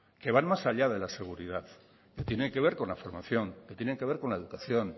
que van más allá de la seguridad que tiene que ver con la formación que tiene que ver con la educación